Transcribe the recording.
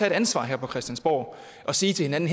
et ansvar her på christiansborg og sige til hinanden